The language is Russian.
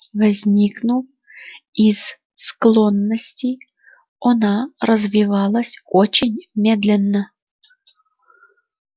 возникнув из склонности она развивалась очень медленно